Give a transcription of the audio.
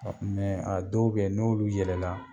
a dɔw be yen n'olu yɛlɛla